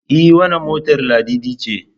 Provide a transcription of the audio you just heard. E wannan motar Ladidi ce.